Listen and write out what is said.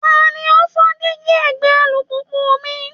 Ta ni ó fọ́ díígí ẹ̀gbẹ́ alùpùpù mi?